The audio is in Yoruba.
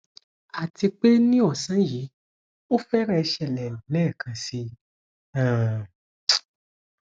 àti pé ní ọsán yìí ó fẹrẹẹ ṣẹlẹ lẹẹkan síi um